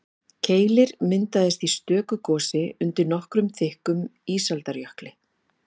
Keilir myndaðist í stöku gosi undir nokkuð þykkum ísaldarjökli.